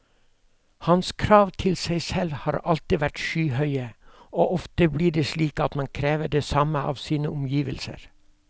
Hans krav til seg selv har alltid vært skyhøye, og ofte blir det slik at man krever det samme av sine omgivelser.